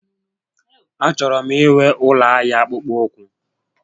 A chọrọ m inwe ụlọ ahịa akpụkpọ ụkwụ